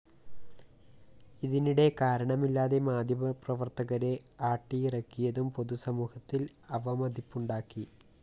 ഇതിനിടെ കാരണമില്ലാതെ മാധ്യമപ്രവര്‍ത്തകരെ ആട്ടിയിറക്കിയതും പൊതുസമൂഹത്തില്‍ അവമതിപ്പുണ്ടാക്കി